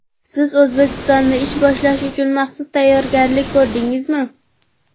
Siz O‘zbekistonda ish boshlash uchun maxsus tayyorgarlik ko‘rdingizmi?